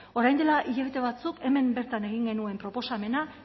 orain dela hilabete batzuk hemen bertan egin genuen proposamena